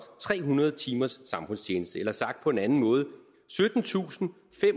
tre hundrede timers samfundstjeneste eller sagt på en anden måde syttentusinde